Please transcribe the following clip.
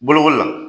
Bolokoli la